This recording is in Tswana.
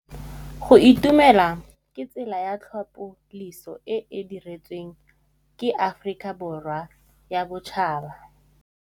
Go itumela ke tsela ya tlhapolisô e e dirisitsweng ke Aforika Borwa ya Bosetšhaba.